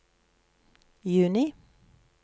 juni